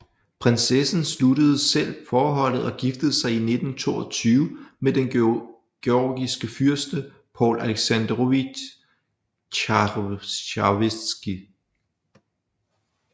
Prinsessen sluttede selv forholdet og giftede sig i 1922 med den georgiske fyrste Paul Aleksandrovitj Chavchavadze